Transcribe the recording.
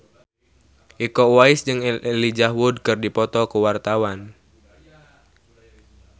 Iko Uwais jeung Elijah Wood keur dipoto ku wartawan